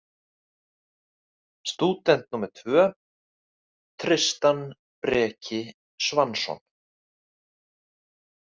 Stúdent númer tvö: Tristan Breki Svansson.